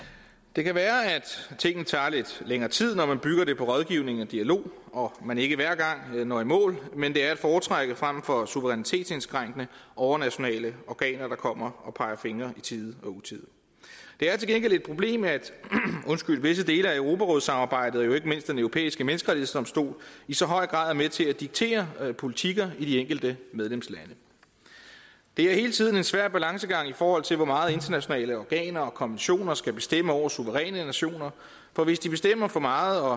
det kan være at tingene tager lidt længere tid når man bygger det på rådgivning og dialog og man ikke hver gang når i mål men det er at foretrække frem for suverænitetsindskrænkende overnationale organer der kommer og peger fingre i tide og utide det er til gengæld et problem at visse dele af europarådssamarbejdet og jo ikke mindst den europæiske menneskerettighedsdomstol i så høj grad er med til at diktere politikker i de enkelte medlemslande det er hele tiden en svær balancegang i forhold til hvor meget internationale organer og konventioner skal bestemme over suveræne nationer for hvis de bestemmer for meget og